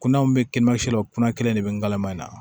Kunnaw bɛ kimansi law kunna kelen de bɛ ngalama in na